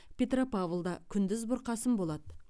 петропавлда күндіз бұрқасын болады